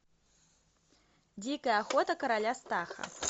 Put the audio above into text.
дикая охота короля стаха